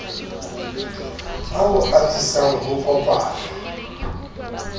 ao ho atisang ho kopanwa